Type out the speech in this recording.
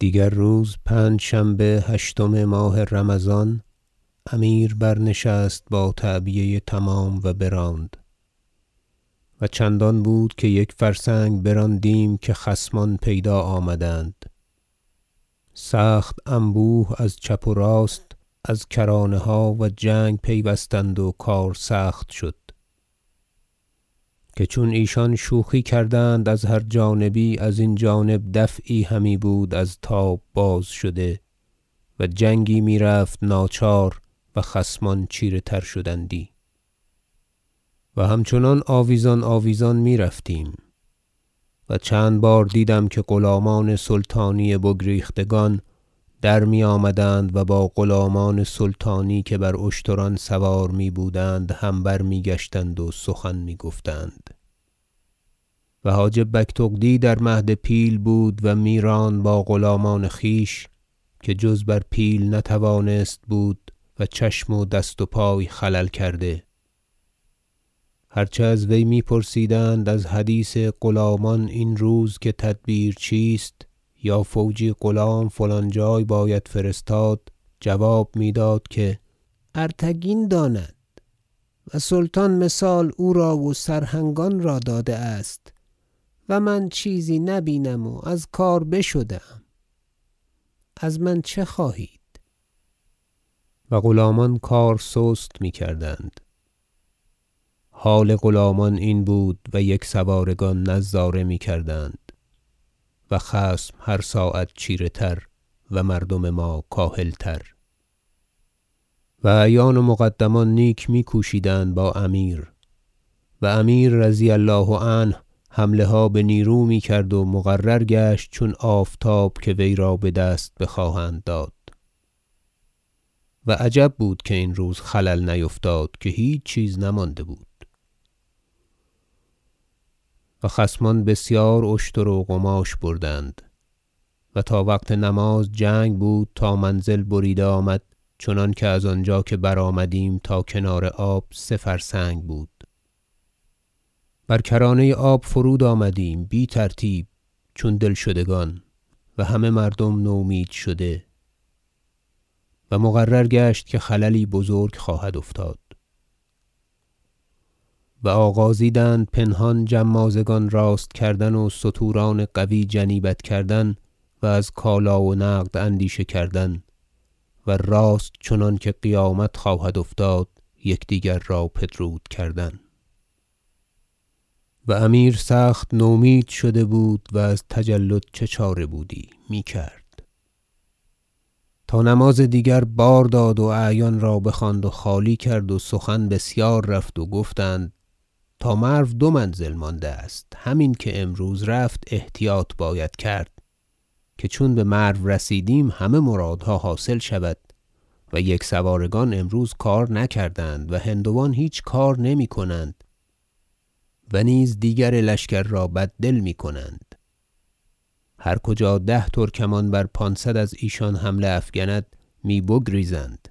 دیگر روز پنجشنبه هشتم ماه رمضان امیر برنشست با تعبیه تمام و براند و چندان بود که یک فرسنگ براندیم که خصمان پیدا آمدند سخت انبوه از چپ و راست از کرانها و جنگ پیوستند و کار سخت شد که چون ایشان شوخی کردند از هر جانبی ازین جانب دفعی همی بود از تاب باز شده و جنگی میرفت ناچار و خصمان چیره تر شدندی و همچنان آویزان آویزان میرفتیم و چند بار دیدم که غلامان سلطانی بگریختگان درمیآمدند و با غلامان سلطانی که بر اشتران سوار می بودند همبر می گشتند و سخن میگفتند و حاجب بگتغدی در مهد پیل بود و میراند با غلامان خویش که جز بر پیل نتوانست بود و چشم و دست و پای خلل کرده هر چه از وی میپرسیدند از حدیث غلامان این روز که تدبیر چیست یا فوجی غلام فلان جای باید فرستاد جواب میداد که ارتگین داند و سلطان مثال او را و سرهنگان را داده است و من چیزی نبینم و از کار بشده ام از من چه خواهید و غلامان کار سست میکردند حال غلامان این بود و یکسو ارگان نظاره میکردند و خصم هر ساعت چیره تر و مردم ما کاهل تر و اعیان و مقدمان نیک میکوشیدند با امیر و امیر رضی الله عنه حمله ها بنیرو میکرد و مقرر گشت چون آفتاب که وی را بدست بخواهند داد و عجب بود که این روز خلل نیفتاد که هیچ چیز نمانده بود و خصمان بسیار اشتر و قماش بردند و تا وقت نماز جنگ بود تا منزل بریده آمد چنانکه از آنجا که برآمدیم تا کنار آب سه فرسنگ بود بر کرانه آب فرود آمدیم بی ترتیب چون دل شدگان و همه مردم نومید شده و مقرر گشت که خللی بزرگ خواهد افتاد و آغازیدند پنهان جمازگان راست کردن و ستوران قوی جنیبت کردن و از کالا و نقد اندیشه کردن و راست چنانکه قیامت خواهد افتاد یکدیگر را پدرود- کردن و امیر سخت نومید شده بود و از تجلد چه چاره بودی میکرد تا نماز دیگر بار داد و اعیان را بخواند و خالی کرد و سخن بسیار رفت و گفتند تا مرو دو منزل مانده است همین که امروز رفت احتیاط باید کرد که چون بمرو رسیدیم همه مرادها حاصل شود و یکسوارگان امروز هیچ کار نکردند و هندوان هیچ کار نمی کنند و نیز دیگر لشکر را بد دل میکنند هر کجا ده ترکمان بر پانصد از ایشان حمله افگند می بگریزند